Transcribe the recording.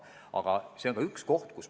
Aga see on ka üks nõrk koht.